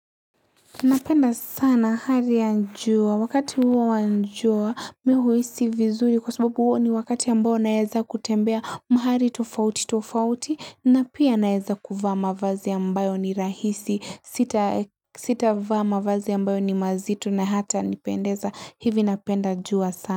Napenda sana hali ya jua, wakati huo wa jua, mimi huhisi vizuri kwa sababu huo ni wakati ambao naeza kutembea mahali tofauti tofauti na pia naeza kuvaa mavazi ambayo ni rahisi, sitavaa mqvazi ambayo ni mazito na hatanipendeza, hivi napenda jua sana.